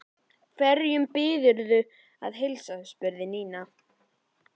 Hverjum biðurðu að heilsa? spurði Nína.